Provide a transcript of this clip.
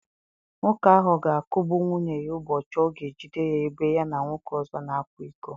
Nwoke ahụ ga-akụgbu nwunye ya ụbọchị ọ ga-ejide ya ebe ya na nwoke ọzọ na-akwa iko.